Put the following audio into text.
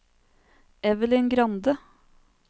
Evelyn Grande